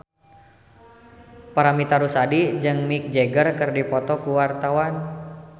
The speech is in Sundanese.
Paramitha Rusady jeung Mick Jagger keur dipoto ku wartawan